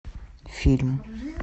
фильм